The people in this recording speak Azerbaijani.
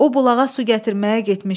O bulağa su gətirməyə getmişdi.